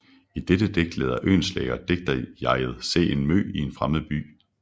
I dette digt lader Oehlenschläger digterjeget se en mø i en fremmed by